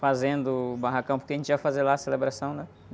Fazendo o barracão, porque a gente ia fazer lá a celebração, né?